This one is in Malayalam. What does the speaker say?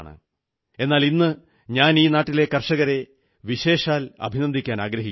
എന്നാൽ ഇന്നു ഞാൻ ഈ നാട്ടിലെ കർഷകരെ വിശേഷാൽ അഭിനന്ദിക്കാനാഗ്രഹിക്കുന്നു